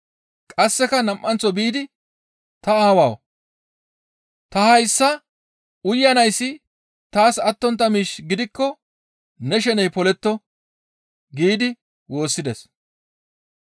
Qasseka nam7anththo biidi, «Ta Aawawu! Ta hayssa uyanayssi taas attontta miish gidikko ne sheney poletto» giidi woossides.